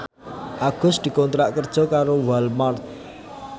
Agus dikontrak kerja karo Walmart